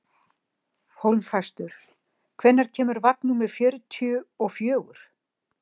Hólmfastur, hvenær kemur vagn númer fjörutíu og fjögur?